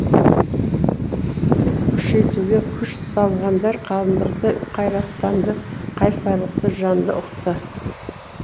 күшейтуге күш салғандар хандықты қайраттанды қайсарлықты жанды ұқты